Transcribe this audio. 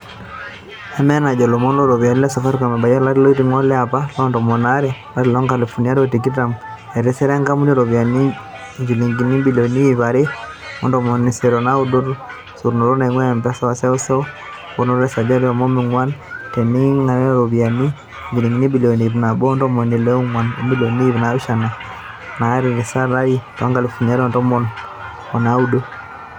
Enaa enajo ilomon looropiyani le Safaricom obayia to lari oiting'o to lapa le tomon aare, olari loonkalifuni are o tikitam, etisira enkampuni iropiyiani injilingini ibilioni iip are o ntomoni isiet o naudo te sotunoto naingua Mpesa e seuseu, emponaroto e sajati e onom o nguan teinintanyanyuk o iropiyiani injilingini ibilioni iip nabo o ntomon ile o nguan o milioni iip naapishana natisira to lari loonkalifuni are o tomon o naudo.